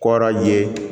Kɔrɔ ye